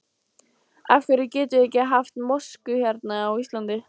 Af hverjum getum við ekki haft mosku hérna á Íslandi?